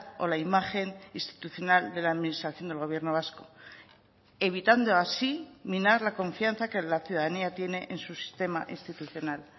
o la imagen institucional de la administración del gobierno vasco evitando así minar la confianza que la ciudadanía tiene en su sistema institucional